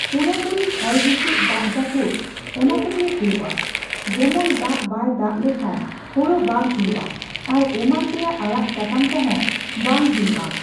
ᱯᱩᱨᱟᱹᱼᱯᱩᱨᱤ ᱦᱚᱭ ᱦᱤᱸᱥᱤᱫ ᱫᱟᱜ ᱡᱟᱹᱯᱩᱫ ᱚᱱᱟ ᱛᱮᱜᱮ ᱦᱩᱭᱩᱜᱼᱟ᱾ ᱡᱮᱢᱚᱱ ᱫᱟᱜ ᱵᱟᱭ ᱫᱟᱜ ᱞᱮᱠᱷᱟᱱ ᱦᱳᱲᱳ ᱵᱟᱝ ᱦᱩᱭᱩᱜᱼᱟ, ᱟᱨᱚ ᱮᱢᱟᱱ ᱛᱮᱭᱟᱜ ᱟᱲᱟᱜ ᱥᱟᱠᱟᱢ ᱠᱚᱦᱚᱸ ᱵᱟᱝ ᱦᱩᱭᱩᱜᱼᱟ᱾